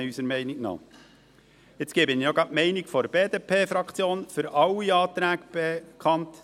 Ich gebe gleich auch noch die Meinung der BDP-Fraktion für alle Anträge bekannt: